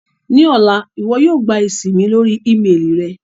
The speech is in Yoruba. Ni ọla, iwọ yóò gba esi mi lori ímeelì rẹ